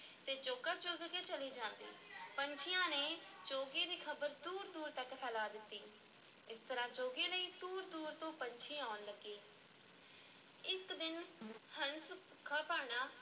ਅਤੇ ਚੋਗਾ ਚੁਗ ਕੇ ਚਲੇ ਜਾਂਦੇ ਪੰਛੀਆਂ ਨੇ ਚੋਗੇ ਦੀ ਖ਼ਬਰ ਦੂਰ-ਦੂਰ ਤੱਕ ਫੈਲਾ ਦਿੱਤੀ, ਇਸ ਤਰ੍ਹਾਂ ਚੋਗੇ ਲਈ ਦੂਰ-ਦੂਰ ਤੋਂ ਪੰਛੀ ਆਉਣ ਲੱਗੇ ਇੱਕ ਦਿਨ ਹੰਸ ਭੁੱਖਾ-ਭਾਣਾ